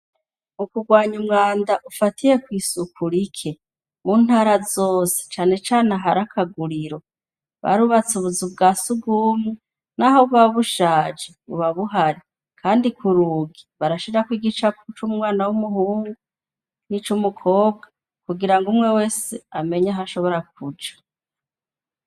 Mukurwanya umwanda ufatiye kw'isuku rike, mu ntara zose cane cane ahari akaguriro barubatse ubuzu bwa sugumwe naho buba bushaje buba buhari, kandi ku rugi barashirako igicapo c'umwana w'umuhungu n'ico umukobwa kugirango umwe wese amenye aho ashobora kuja.